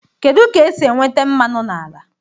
Kedu ka esi enweta mmanụ n'ala?